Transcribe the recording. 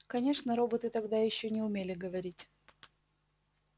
конечно роботы тогда ещё не умели говорить